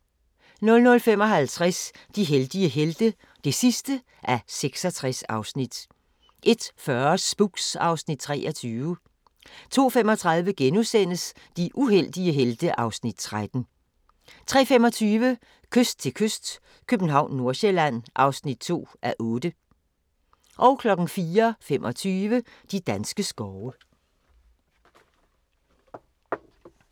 00:55: De heldige helte (66:66) 01:40: Spooks (Afs. 23) 02:35: De uheldige helte (Afs. 13)* 03:25: Kyst til kyst - København/Nordsjælland (2:8) 04:25: De danske skove